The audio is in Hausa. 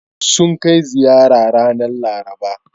Sun kai ziyara ranar Laraba.